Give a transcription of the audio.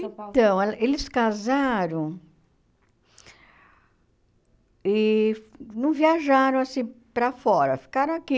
de São Paulo. Então, ela eles casaram e não viajaram assim para fora, ficaram aqui.